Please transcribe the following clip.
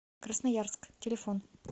красноярск телефон